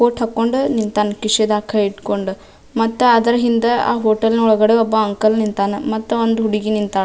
coat ಹಾಕ್ಕೊಂಡ್ ನಿಂತಾನ್ ಕಿಶೆದಾಗ್ ಕೈ ಇಟ್ಕೊಂಡ್ ಮತ್ತಾ ಅದರ ಹಿಂದ ಆ ಹೋಟೆಲ್ ಒಳಗಡೆ ಒಬ್ಬ ಅಂಕಲ್ ನಿಂತನ ಮತ್ತಾ ಒಂದ್ ಹುಡುಗಿ ನಿಂತಾ --